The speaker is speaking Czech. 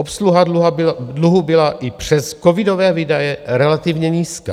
Obsluha dluhu byla i přes covidové výdaje relativně nízká.